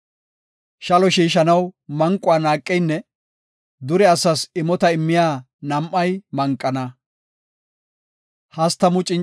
Shalo shiishanaw manquwa naaqeynne dure asas imota immiya nam7ay manqana.